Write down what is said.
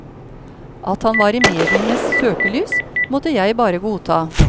At han var i medienes søkelys, måtte jeg bare godta.